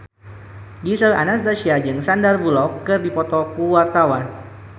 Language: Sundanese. Gisel Anastasia jeung Sandar Bullock keur dipoto ku wartawan